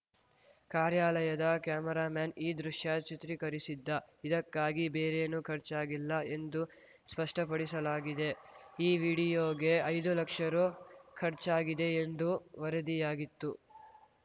ಕಾರ್ಯಾಲಯದ ಕೆಮೆರಾಮ್ಯಾನ್‌ ಈ ದೃಶ್ಯ ಚಿತ್ರೀಕರಿಸಿದ್ದ ಇದಕ್ಕಾಗಿ ಬೇರೇನೂ ಖರ್ಚಾಗಿಲ್ಲ ಎಂದು ಸ್ಪಷ್ಟಪಡಿಸಲಾಗಿದೆ ಈ ವಿಡಿಯೋಗೆ ಐದು ಲಕ್ಷ ರು ಖರ್ಚಾಗಿದೆ ಎಂದು ವರದಿಯಾಗಿತ್ತು